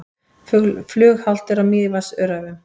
Flughált er á Mývatnsöræfum